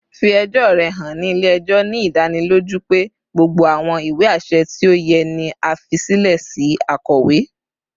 Fi ẹjọ rẹ han ni ile-ẹjọ, ni idaniloju pe gbogbo awọn iwe aṣẹ ti o yẹ ni a fi silẹ si akowe